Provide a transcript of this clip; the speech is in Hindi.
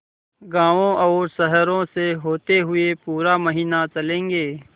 गाँवों और शहरों से होते हुए पूरा महीना चलेंगे